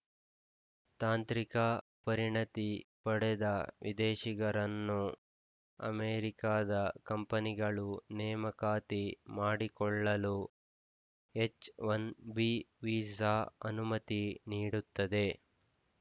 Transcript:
ತಾಂತ್ರಿಕ ಪರಿಣತಿ ಪಡೆದ ವಿದೇಶಿಗರನ್ನು ಅಮೆರಿಕದ ಕಂಪನಿಗಳು ನೇಮಕಾತಿ ಮಾಡಿಕೊಳ್ಳಲು ಎಚ್‌ ಒನ್ ಬಿ ವಿಸಾ ಅನುಮತಿ ನೀಡುತ್ತದೆ